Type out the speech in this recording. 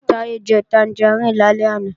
Táyé jẹ tangaríìnì lálẹ́ àná